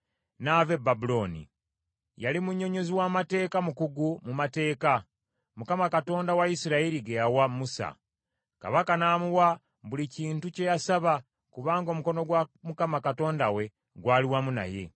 n’ava e Babulooni. Yali munnyonnyozi w’amateeka mukugu mu mateeka, Mukama Katonda wa Isirayiri ge yawa Musa. Kabaka n’amuwa buli kintu kye yasaba kubanga omukono gwa Mukama Katonda we gwali wamu naye.